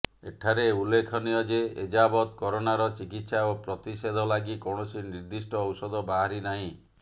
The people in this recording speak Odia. ଏଠାରେ ଉଲ୍ଲେଖନୀୟ ଯେ ଏଯାବତ୍ କରୋନାର ଚିକିତ୍ସା ଓ ପ୍ରତିଷେଧ ଲାଗି କୌଣସି ନିର୍ଦ୍ଧିଷ୍ଟ ଔଷଧ ବାହାରି ନାହିଁ